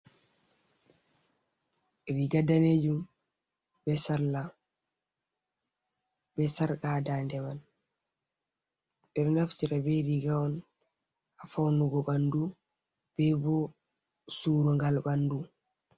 Riga danejum be salla be sarqa ha dande man, ɓeɗo naftira be riga on ha faunugo ɓandu be bo surugal ɓandu.